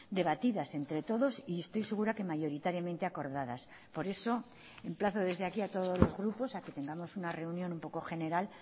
debatidas entre todos y estoy segura que mayoritariamente acordadas por eso emplazo desde aquí a todos los grupos a que tengamos una reunión un poco general